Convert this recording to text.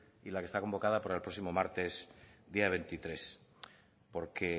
y la que está convocada para el próximo martes día veintitrés porque